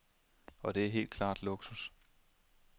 Og det er helt klart luksus.